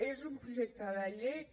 és un projecte de llei que